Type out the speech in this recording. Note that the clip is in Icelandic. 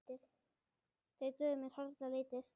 Þeir dugðu mér harla lítið.